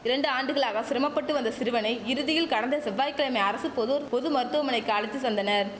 இரண்டு ஆண்டுகளாக சிரமப்பட்டு வந்த சிறுவனை இறுதியில் கடந்த செவ்வாய் கிழமை அரசு பொதுர் பொது மருத்துவமனைக்கு அழைத்து வந்தனர்